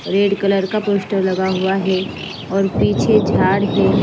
Red colour का poster लगा हुआ है और पीछे जाड है।